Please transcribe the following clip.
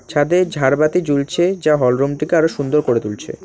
ছাদে ঝাড়বাতি ঝুলছে যা হলরুমটিকে আরো সুন্দর করে তুলছে।